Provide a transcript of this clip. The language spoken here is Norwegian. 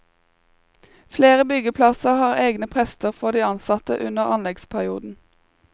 Flere byggeplasser har egne prester for de ansatte under anleggsperioden.